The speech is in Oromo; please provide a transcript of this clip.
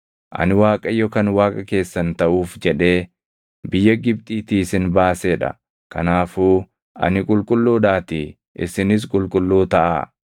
Ani Waaqayyo kan Waaqa keessan taʼuuf jedhee biyya Gibxiitii isin baasee dha; kanaafuu ani qulqulluudhaatii isinis qulqulluu taʼaa.